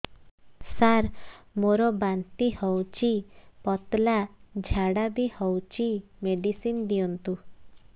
ସାର ମୋର ବାନ୍ତି ହଉଚି ପତଲା ଝାଡା ବି ହଉଚି ମେଡିସିନ ଦିଅନ୍ତୁ